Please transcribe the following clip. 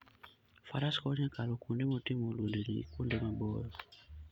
Faras konyo e kalo kuonde motimo lwendni gi kuonde maboyo.